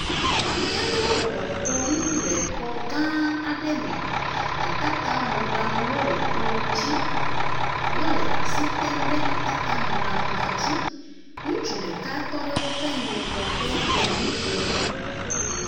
Ame aɖewo bɔbɔbnɔ kplɔ nu le xɔ gã aɖe me. Atatamɔɖaŋuwo le kplɔ dzi. Wole asi tem ɖe atatamɔɖaŋua dzi. Ŋutsu ɖeka tɔ ɖe woƒ ŋgɔgbe le nu ƒom.